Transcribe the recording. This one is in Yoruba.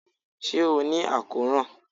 ṣe o ni akoran?